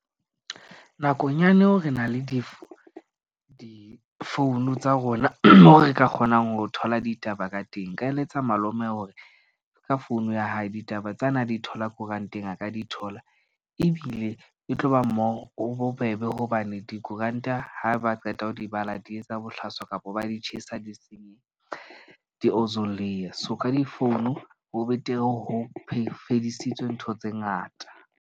Nakong ya neo re na le di phone tsa rona moo re ka kgonang ho thola ditaba ka teng. Nka eletsa malome hore ka phone ya hae ditaba tsena di thola koranteng a ka di thola. Ebile e tloba bobebe hobane dikoranta ha ba qeta ho di bala, di etsa bohlaswa kapa ba di tjhesa, di-ozone layer so ka di-phone ho betere ho fedisitswe ntho tse ngata.